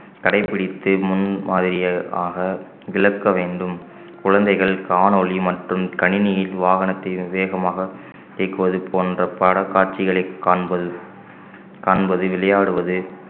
கடைப்பிடித்து முன்மாதிரியாக விளக்க வேண்டும் குழந்தைகள் காணொளி மற்றும் கணினியில் வாகனத்தை வேகமாக இயக்குவது போன்ற படக் காட்சிகளை காண்பது காண்பது விளையாடுவது